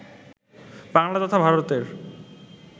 বাংলা তথা ভারতের